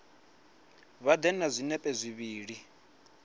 vha ḓe na zwinepe zwivhili